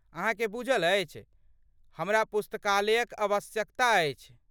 अहाँकेँ बुझल अछि, हमरा पुस्तकालयक आवश्यकता अछि।